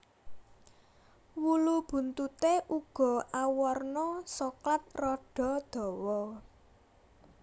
Wulu buntuté uga awarna soklat rada dawa